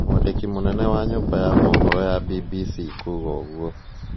Mwandĩki mûnene wa nyũmba mohoro BBC kuuga ûguo